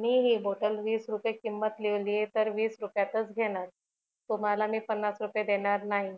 मी हि बॉटल वीस रुपय किंमत लिहीवलिय तर वीस रुपयातच घेणार तुम्हाला मी पन्नास रुपये देणार नाही